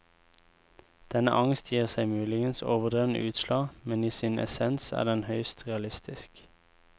Denne angst gir seg muligens overdrevne utslag, men i sin essens er den høyst realistisk.